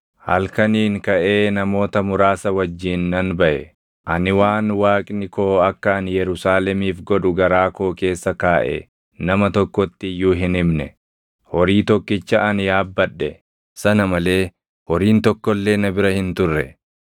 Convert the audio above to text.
halkaniin kaʼee namoota muraasa wajjin nan baʼe. Ani waan Waaqni koo akka ani Yerusaalemiif godhu garaa koo keessa kaaʼe nama tokkotti iyyuu hin himne. Horii tokkicha ani yaabbadhe sana malee horiin tokko illee na bira hin turre.